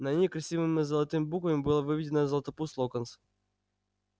на ней красивыми золотыми буквами было выведено златопуст локонс